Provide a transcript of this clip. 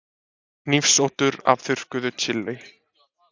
Hnífsoddur af þurrkuðu chili.